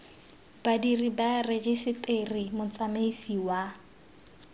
badiri ba rejiseteri motsamaisi wa